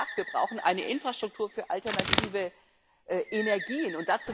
Ich habe ja gesagt Wir brauchen eine Infrastruktur für alternative Energien.